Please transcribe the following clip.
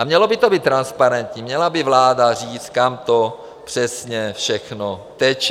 A mělo by to být transparentní, měla by vláda říct, kam to přesně všechno teče.